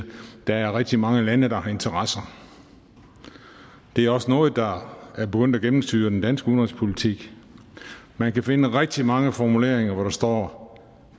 der er rigtig mange lande der har interesser det er også noget der er begyndt at gennemsyre den danske udenrigspolitik man kan finde rigtig mange formuleringer hvor der står